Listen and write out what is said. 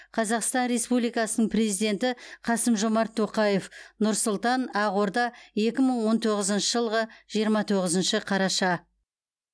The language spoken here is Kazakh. қазақстан республикасының президенті қасым жомарт тоқаев нұр сұлтан ақорда екі мың он тоғызыншы жылғы жиырма тоғызыншы қараша